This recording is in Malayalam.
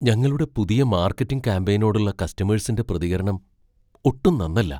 ഞങ്ങളുടെ പുതിയ മാർക്കറ്റിംഗ് ക്യാംപെയിനിനോടുള്ള കസ്റ്റമേഴ്സിന്റെ പ്രതികരണം ഒട്ടും നന്നല്ല.